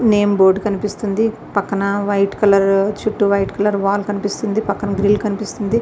Name board కనిపిస్తుంది. పక్కన white colour చుట్టూ వైట్ కలర్ వాల్ కనిపిస్తుంది పక్కన గ్రిల్ కనిపిస్తుంది.